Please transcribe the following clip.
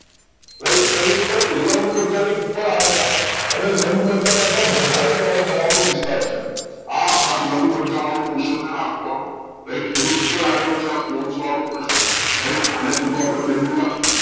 વેલ શેની ઉપર લંબમજ્જા ની ઉપર આવેલા અને લાંબમજ્જા કરતા વધારે પહોળાઈ ધરાવતો વિસ્તાર છે આ આ લાંબમજ્જા વાળું portion હોય આખું આમ રાઈટ એની ઉપર આવેલુ છે પોન્સ વાળું portion રાઈટ આને કીધું આપડે મેડ્યુલા